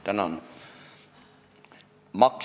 Tänan!